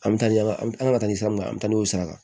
An bɛ taa ɲɛfɛ an bɛ an ka taa ni san min na an bɛ taa n'o sara